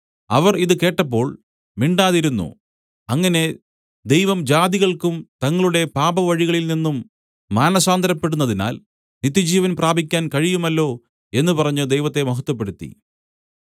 അവർ ഇത് കേട്ടപ്പോൾ മിണ്ടാതിരുന്നു അങ്ങനെ ദൈവം ജാതികൾക്കും തങ്ങളുടെ പാപവഴികളിൽനിന്നും മാനസാന്തരപ്പെടുന്നതിനാൽ നിത്യജീവൻ പ്രാപിക്കാൻ കഴിയുമല്ലോ എന്നു പറഞ്ഞ് ദൈവത്തെ മഹത്വപ്പെടുത്തി